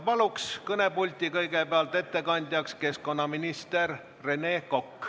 Palun kõnepulti ettekandjaks keskkonnaminister Rene Koka!